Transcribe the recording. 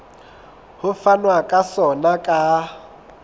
ho fanwa ka sona ka